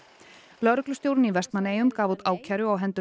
lögreglustjórinn í Vestmannaeyjum gaf út ákæru á hendur